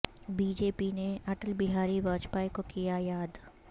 B J پی نے اٹل بہاری واجپئی کو کیایاد